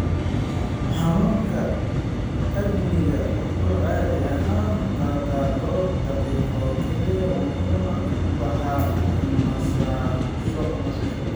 Xanuunka angina wuxuu caadi ahaan qaataa dhowr daqiiqo oo keliya wuxuuna ku baxaa nasasho.